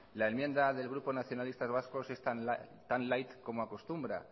la enmienda del grupo nacionalistas vascos es tan light como acostumbra